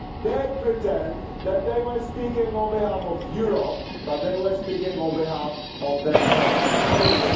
They pretend that they are speaking on behalf of Europe, but they are speaking on behalf of themselves only.